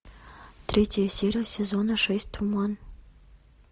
третья серия сезона шесть туман